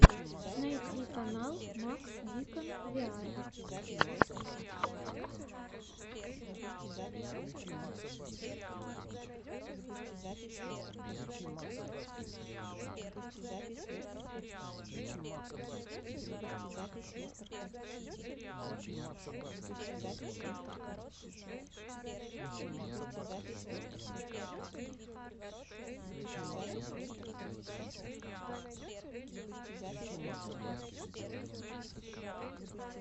найти канал макс дикон виар